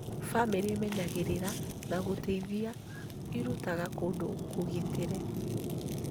Bamĩrĩ ĩmenyagĩrĩra na gũteithia ĩrutaga kũndũ kũgitĩre